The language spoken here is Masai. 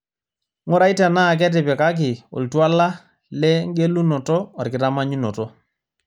ng'urai tenaa ketipikaki oltuala le engelunoto orkitamanyunoto